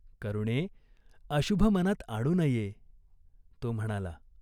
"करुणे, अशुभ मनात आणू नये." तो म्हणाला.